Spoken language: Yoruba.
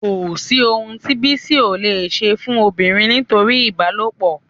Kò sí ohun tí Bísí ò leè ṣe fún obìnrin nítorí ìbálòpọ̀